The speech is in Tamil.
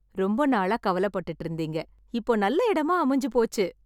ரொம்ப நாளா கவலை பட்டுட்டு இருந்தீங்க, இப்போ நல்ல இடமா அமைஞ்சு போச்சு.